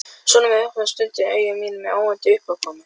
Sonur minn opnar stundum augu mín með óvæntum uppákomum.